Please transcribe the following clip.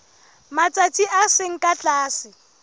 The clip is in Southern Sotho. matsatsi a seng ka tlase